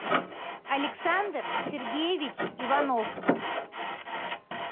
александр сергеевич иванов